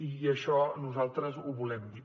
i això nosaltres ho volem dir